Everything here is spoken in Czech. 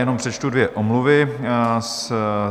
Jenom přečtu dvě omluvy.